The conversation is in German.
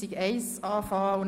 Rückweisung.